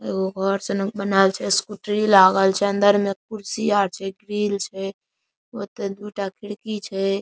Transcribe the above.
एगो घर सना के बनाल छै स्कूटरी लागल छै अंदर में कुर्सी आर छै ग्रिल छै ओयता दू टा खिड़की छै।